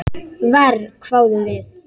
Verr, hváðum við.